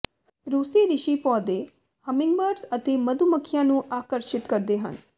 ਰੂਸੀ ਰਿਸ਼ੀ ਪੌਦੇ ਹੰਮਿੰਗਬਰਡਜ਼ ਅਤੇ ਮਧੂ ਮੱਖੀਆਂ ਨੂੰ ਆਕਰਸ਼ਿਤ ਕਰਦੇ ਹਨ